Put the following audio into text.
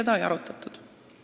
Ei, seda ei arutatud.